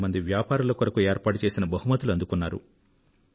వ్యాపారుల కొరకు ఏర్పాటు చేసిన బహుమతులను డెభ్భై వేల మంది అందుకున్నారు